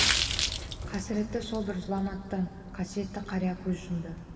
қасіретті сол бір зұлматтан қасиетті қария көз жұмды